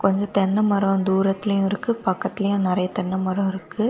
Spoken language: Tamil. இங்க தென்னமரம் தூரத்திலேயும் இருக்கு பக்கத்திலேயும் நறைய தென்ன மரம் இருக்கு.